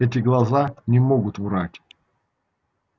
эти глаза не могут врать